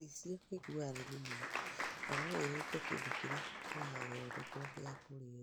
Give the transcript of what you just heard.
Gĩcicio gĩkuaga raithi mũno na no gĩthũkie kĩndũ kĩrĩa kĩrathondekwo gĩa kũrĩĩo.